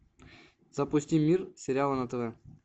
запусти мир сериала на тв